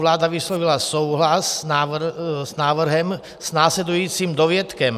Vláda vyslovila souhlas s návrhem s následujícím dovětkem.